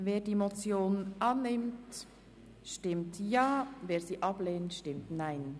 Wer die Motion annimmt, stimmt Ja, wer diese ablehnt, stimmt Nein.